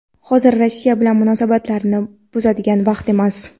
Hozir Rossiya bilan munosabatlarni buzadigan vaqt emas.